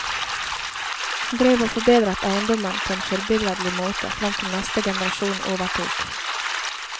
Han drev og forbedret eiendommen på en forbilledlig måte frem til neste generasjon overtok.